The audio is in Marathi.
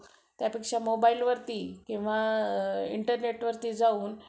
आणि राहिलेले वीस minute काय?